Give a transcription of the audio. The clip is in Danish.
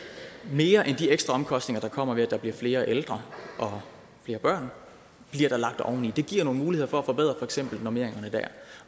mere end de ekstra omkostninger der kommer ved at der bliver flere ældre og flere børn bliver der lagt oveni det giver nogle muligheder for at forbedre for eksempel normeringerne dér